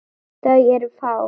Þau eru fá.